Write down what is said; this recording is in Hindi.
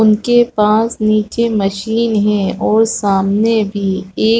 उनके पास नीचे मशीन है और सामने भी एक।